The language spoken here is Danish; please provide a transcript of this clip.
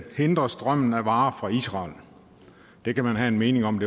hindre strømmen af varer fra israel det kan man have en mening om